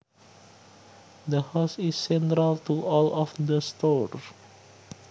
The house is central to all of the stores